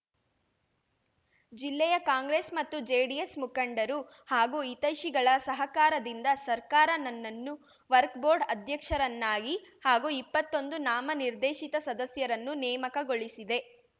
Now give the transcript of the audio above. ಜಿಲ್ಲೆಯ ಕಾಂಗ್ರೆಸ್‌ ಮತ್ತು ಜೆಡಿಎಸ್‌ ಮುಖಂಡರು ಹಾಗೂ ಹಿತೈಷಿಗಳ ಸಹಕಾರದಿಂದ ಸರ್ಕಾರ ನನ್ನನ್ನು ವರ್ಕ್ ಬೋರ್ಡ್‌ ಅಧ್ಯಕ್ಷರನ್ನಾಗಿ ಹಾಗೂ ಇಪ್ಪತ್ತೊಂದು ನಾಮನಿರ್ದೇಶಿತ ಸದಸ್ಯರನ್ನು ನೇಮಕಗೊಳಿಸಿದೆ